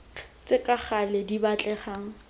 tse ka gale di batlegang